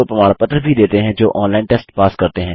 वे उनको प्रमाण पत्र भी देते हैं जो ऑनलाइन टेस्ट पास करते हैं